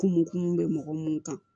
Kun m kun mun bɛ mɔgɔ mun kan